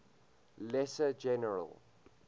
lesser general